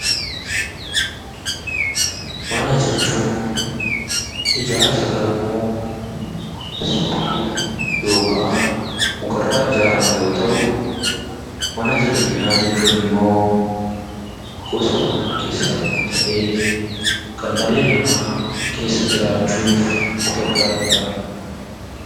Mana jechuun ijaarsa gamoo, sibiila yookaan mukarraa ijaaramu yoo ta’u, Ana jireenyaa jechuun immoo gosa manaa keessaa tokko ta'ee kanndhalli namaa keessa jiraachuuf itti gargaaramudha.